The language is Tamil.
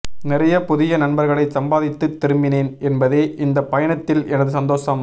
நிறையப் புதிய நண்பர்களைச் சம்பாதித்துத் திரும்பினேன் என்பதே இந்தப் பயணத்தில் எனது சந்தோஷம்